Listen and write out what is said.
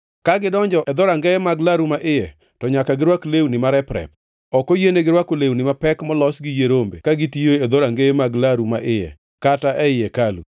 “ ‘Ka gidonjo e dhorangeye mag laru ma iye, to nyaka girwak lewni marep-rep. Ok oyienegi rwako lewni mapek molos gi yie rombe ka gitiyo e dhorangeye mag laru ma iye, kata ei hekalu.